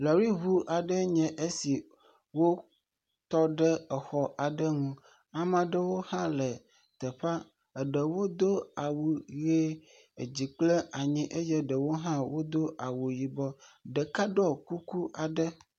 Lɔriŋu aɖee nye esi wotɔɖe exɔ aɖe nu. Ame aɖewo hã le teƒea. Eɖewo do awu ʋe. Edzi kple anyi eye ɖewo hã wodo awu yibɔ. Ɖeka hã ɖɔ kuku gã aɖe.